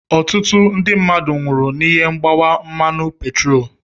Ọtụtụ ndị mmadụ nwụrụ n'ihi mgbawa mmanụ petroolu.